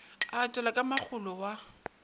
a etelwa ke makgolo wa